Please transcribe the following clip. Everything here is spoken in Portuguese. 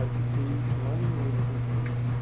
Aí fiquei um ano e meio nessa empresa.